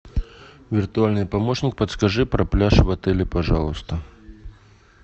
виртуальный помощник подскажи про пляж в отеле пожалуйста